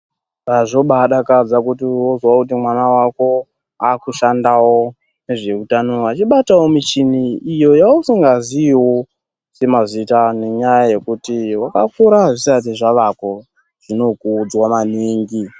Zvobaadakadza wozwawo kuti mwana wako aakushandawo mune zveutano, achibatawo michini iyo yausingaziyiwo semazita ayo, nenyaya yekuti wakakurawo zvisati zvavako. Zvinokudzwa maningi